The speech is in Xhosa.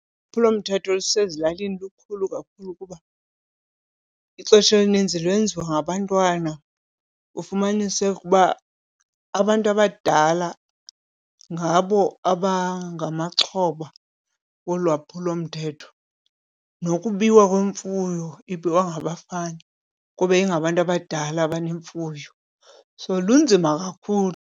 Ulwaphulomthetho olusezilalini lukhulu kakhulu kuba ixesha elininzi lwenziwa ngabantwana, ufumaniseke uba abantu abadala ngabo abangamaxhoba wolwaphulomthetho. Nokubiwa kwemfuyo ibiwa ngabafana kube ingabantu abadala abanemfuyo, so lunzima kakhulu.